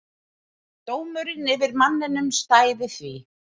Dómurinn yfir manninum stæði því.